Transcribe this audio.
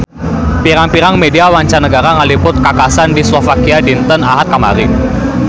Pirang-pirang media mancanagara ngaliput kakhasan di Slovakia dinten Ahad kamari